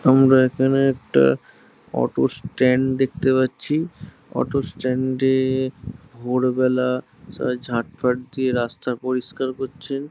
আমারা এখানে একটা অটো স্ট্যান্ড দেখতে পাচ্ছি অটো স্ট্যান্ড -এ ভোরবেলা সবাই ঝাঁটফাঁট দিয়ে রাস্তা পরিষ্কার করছেন।